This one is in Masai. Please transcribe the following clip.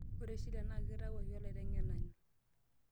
ore shila naa kitawuoki olaiteng'enani